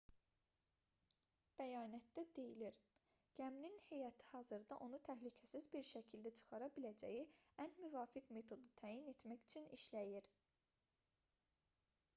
bəyanatda deyilir gəminin heyəti hazırda onu təhlükəsiz bir şəkildə çıxara biləcəyi ən müvafiq metodu təyin etmək üçün işləyir